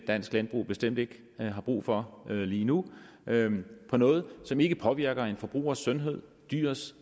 dansk landbrug bestemt ikke har brug for lige nu for noget som ikke påvirker en forbrugers sundhed dyrets